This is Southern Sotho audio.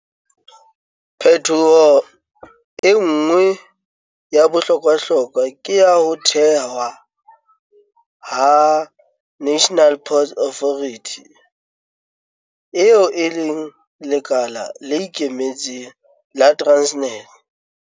Phetoho e nngwe ya bohlokwahlokwa ke ya ho thewa ha National Ports Authority, eo e leng lekala le ikemetseng la Transnet.